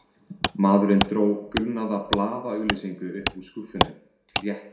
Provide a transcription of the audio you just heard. Maðurinn dró gulnaða blaðaauglýsingu upp úr skúffunni, rétti